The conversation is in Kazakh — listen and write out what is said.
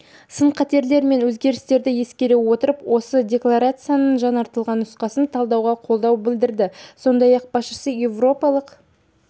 сын-қатерлер мен өзгерістерді ескере отырып осы декларацияның жаңартылған нұсқасын талқылауға қолдау білдірді сондай-ақ басшысы еуропалық